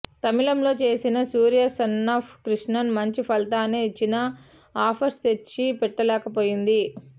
తమిళంలో చేసిన సూర్య సన్నాఫ్ కృష్ణన్ మంచి ఫలితాన్నే ఇచ్చినా ఆఫర్స్ తెచ్చి పెట్టలేకపోయింది